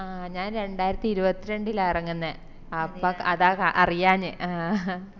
ആഹ് ഞാൻ രണ്ടായിരത്തിഇരുപത്രണ്ടില ഇറങ്ങുന്നേ അപ്പൊ അതാ കാ അറിയഞെ ആ